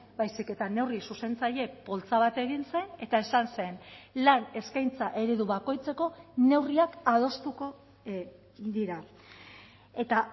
baizik eta neurri zuzentzaile poltsa bat egin zen eta esan zen lan eskaintza eredu bakoitzeko neurriak adostuko dira eta